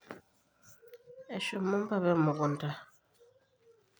eshomo mpapa emukunta